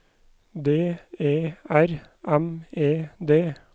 D E R M E D